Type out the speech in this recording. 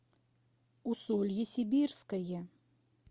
усолье сибирское